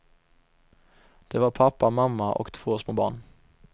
Det var pappa, mamma och två små barn.